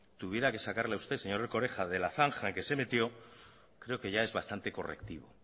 tuviera que sacarle a usted señor erkoreka de la zanja en la que se metió creo que ya es bastante correctivo